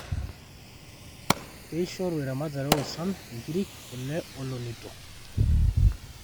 keishoru eramatare oo swam inkirik, kule oo lonito